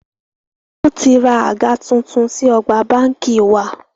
Wọn tí ra àga tuntun sí ọgbà báńkì wa.